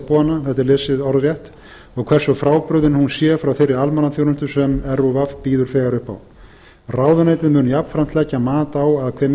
hana svo lesið sé orðrétt og hversu frábrugðið hún sé frá þeirri almannaþjónustu sem rúv býður þegar upp á ráðuneytið mun jafnframt leggja mat á að hve